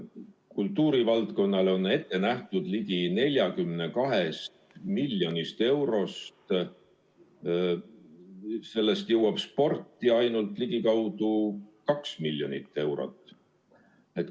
Kogu kultuurivaldkonnale ette nähtud ligi 42 miljonist eurost jõuab sporti ainult ligikaudu 2 miljonit eurot.